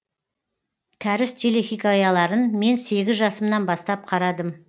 кәріс телехикаяларын мен сегіз жасымнан бастап қарадым